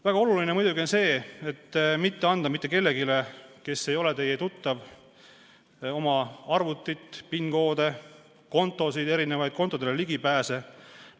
Väga oluline on muidugi mitte anda mitte kellelegi, kes ei ole teie tuttav, oma arvutit, PIN-koode, kontosid, kontodele ligipääsemise andmeid.